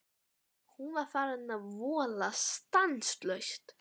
Hún var farin að vola stanslaust.